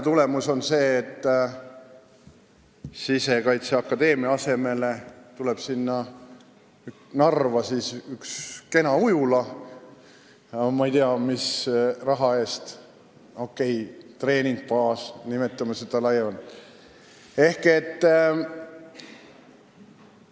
Tulemus on see, et Sisekaitseakadeemia asemel tuleb Narva üks kena ujula – ma ei tea, mis raha eest –, okei, treeningbaas, kui seda laiemalt nimetada.